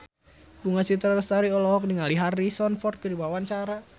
Bunga Citra Lestari olohok ningali Harrison Ford keur diwawancara